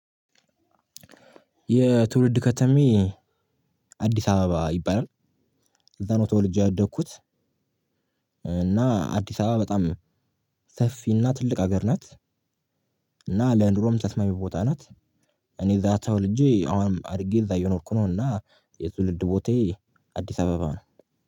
የትውልድ ከተማዬ አዲስ አበባ ይባላል። እዛ ነው ተወልጄ ያደግኩት። እና አዲስ አበባ በጣም ሰፊ እና ትልቅ ሀገር ናት። እና ለኑሮም ተስማሚ ቦታ ናት። እኔ እዛ ተወልጄ አሁንም አድርጌ እዛ የኖርኩ ነው። እና የትውልድ ቦታዬ አዲስ አበባ ነው።